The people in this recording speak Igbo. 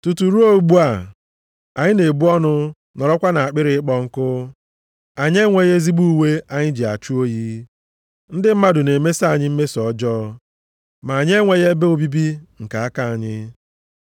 Tutu ruo ugbu a, anyị na-ebu ọnụ nọrọkwa nʼakpịrị ịkpọ nkụ. Anyị enweghị ezigbo uwe anyị ji achụ oyi. Ndị mmadụ na-emeso anyị mmeso ọjọọ, ma anyị enweghị ebe obibi nke aka anyị.